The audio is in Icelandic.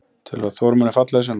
Telurðu að Þór muni falla í sumar?